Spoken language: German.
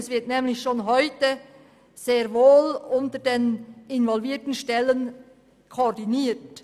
Die involvierten Stellen werden nämlich schon heute sehr wohl koordiniert.